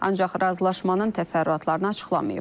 Ancaq razılaşmanın təfərrüatlarını açıqlamayıb.